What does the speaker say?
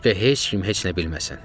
Başqa heç kim heç nə bilməsin.